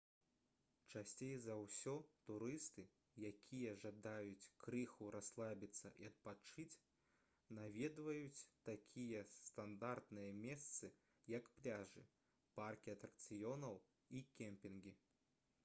часцей за ўсё турысты якія жадаюць крыху расслабіцца і адпачыць наведваюць такія стандартныя месцы як пляжы паркі атракцыёнаў і кемпінгі